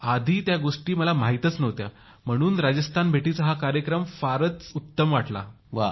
आधी या गोष्टी मला माहितच नव्हत्या म्हणून राजस्थान भेटीचा हा कार्यक्रम फारच उत्तम वाटला